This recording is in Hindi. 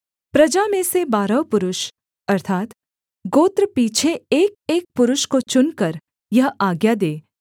प्रजा में से बारह पुरुष अर्थात्गोत्र पीछे एकएक पुरुष को चुनकर यह आज्ञा दे